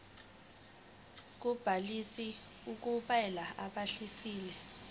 kobhaliso kulabo ababhalisile